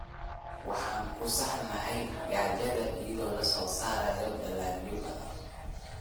Waxaan ku saxnaa gaajada iyadoo la soo saarayo dalagyo badan.